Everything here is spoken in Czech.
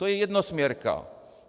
To je jednosměrka.